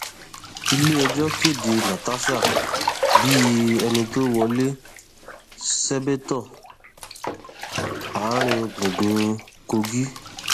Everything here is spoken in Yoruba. iléẹjọ kéde natasha bíi ẹni tó wọlé sébétò àárín gbùngbùn kogi